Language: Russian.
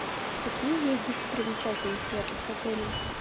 какие есть достопримечательности рядом с отелем